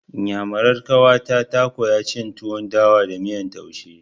Iyamurar ƙawata ta koya cin tuwon dawa da miyan taushe.